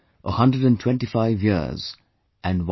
125 years and 1